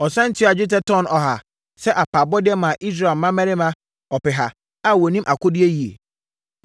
Ɔsane tuaa dwetɛ tɔno 3.4 sɛ apaabɔdeɛ maa Israel mmarima ɔpeha a wɔnim akodie yie.